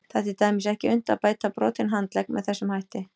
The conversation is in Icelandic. Það er til dæmis ekki unnt að bæta brotinn handlegg með þessum hætti.